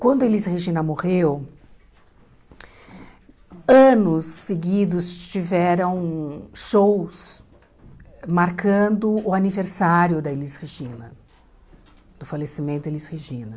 Quando a Elis Regina morreu, anos seguidos tiveram shows marcando o aniversário da Elis Regina, do falecimento da Elis Regina.